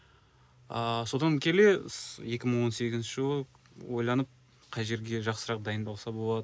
ааа содан келе екі мың он сегізінші жылы ойланып қай жерге жақсырақ дайындалса болады